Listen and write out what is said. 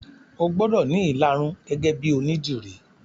O gbọ́dọ̀ ní ìlarun gẹ́gẹ́ bíi onídìrí